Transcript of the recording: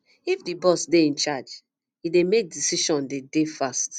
if di boss dey in charge e dey make decision dey dey fast